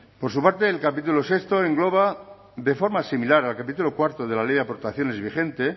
por su parte el capítulo sexto engloba de forma similar al capítulo cuarto de la ley de aportaciones vigente